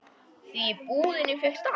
Því í búðinni fékkst allt.